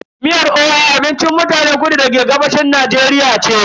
Miyar oha ta mutanen kudu maso gabashin Najeriya ce.